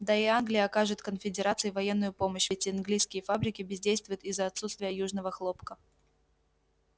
да и англия окажет конфедерации военную помощь ведь английские фабрики бездействуют из-за отсутствия южного хлопка